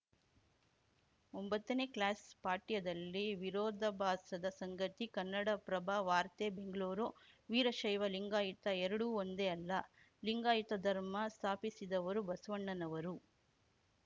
ಒಂಬತ್ತನೇ ಕ್ಲಾಸ್‌ ಪಠ್ಯದಲ್ಲಿ ವಿರೋಧಾಭಾಸದ ಸಂಗತಿ ಕನ್ನಡಪ್ರಭ ವಾರ್ತೆ ಬೆಂಗಳೂರು ವೀರಶೈವಲಿಂಗಾಯುತ ಎರಡೂ ಒಂದೇ ಅಲ್ಲ ಲಿಂಗಾಯುತ ಧರ್ಮ ಸ್ಥಾಪಿಸಿದವರು ಬಸವಣ್ಣನವರು